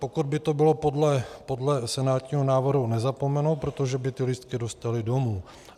Pokud by to bylo podle senátního návrhu, nezapomenou, protože by ty lístky dostali domů.